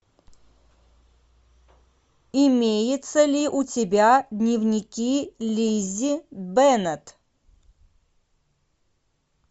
имеется ли у тебя дневники лиззи беннет